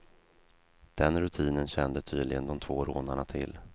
Den rutinen kände tydligen de två rånarna till.